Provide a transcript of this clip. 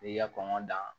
I y'i ka kɔnɔn da